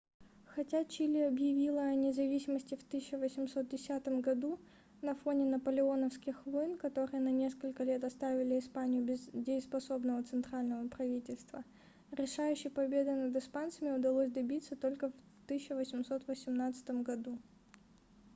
хотя чили объявило о независимости в 1810 году на фоне наполеоновских войн которые на несколько лет оставили испанию без дееспособного центрального правительства решающей победы над испанцами удалось добиться только в 1818 году